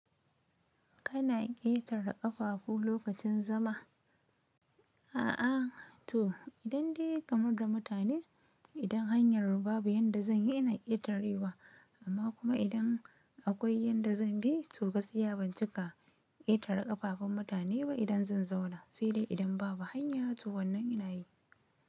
Kana ƙetare ƙafafu lokacin zama? A'a to idan dai kamar da mutane, idan hanyar babu yanda zan yi ina ƙetarewa amma kuma idan akwai yadda zan bi to gaskiya ban cika ƙetare ƙafafun mutane ba idan zan zauna sai dai idan babu hanya to wannan ina yi.